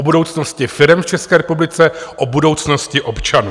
O budoucnosti firem v České republice, o budoucnosti občanů.